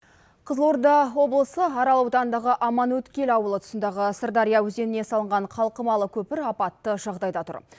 қызылорда облысы арал ауданындағы аманөткел ауылы тұсындағы сырдария өзеніне салынған қалқымалы көпір апатты жағдайда тұр